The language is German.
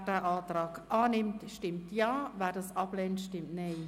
Wer den Kreditantrag annimmt, stimmt Ja, wer diesen ablehnt, stimmt Nein.